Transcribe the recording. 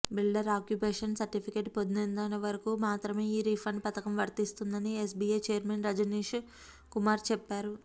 builder occupation certificate పొందేంత వరకు మాత్రమే ఈ రిఫండ్ పథకం వర్తిస్తుందని ఎస్బీఐ చైర్మన్ రజనీశ్ కుమార్ చెప్పారు